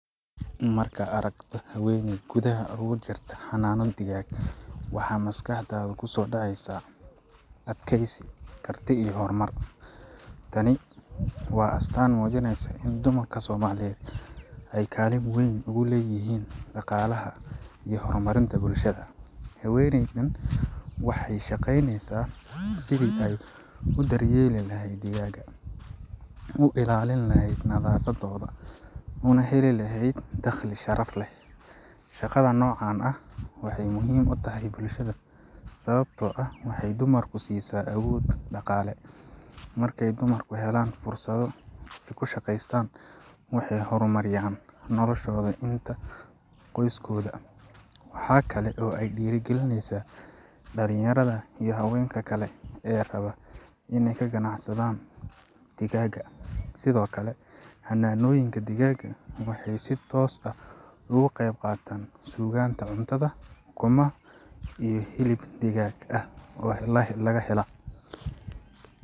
Markaad aragto haweeney gudaha uga jirta xanaano digaag, waxaa maskaxdaada ku soo dhacaya adkaysi, karti iyo horumar. Tani waa astaan muujinaysa in dumarka Soomaaliyeed ay kaalin weyn ku leeyihiin dhaqaalaha iyo horumarinta bulshada. Haweeneydan waxay ka shaqaynaysaa sidii ay u daryeeli lahayd digaagga, u ilaalin lahayd nadaafadooda, una heli lahayd dakhli sharaf leh. Shaqada noocan ah waxay muhiim u tahay bulshada sababtoo ah waxay dumarka siisaa awood dhaqaale. Markay dumarku helaan fursado ay ku shaqeystaan, waxay horumariyaan noloshooda iyo tan qoyskooda. Waxa kale oo ay dhiirrigelisaa dhalinyarada iyo haweenka kale ee raba inay ganacsi bilaabaan. Sidoo kale, xanaanooyinka digaagga waxay si toos ah uga qayb qaataan sugnaanta cuntada ukumo iyo hilib digaag ayaa la helaa.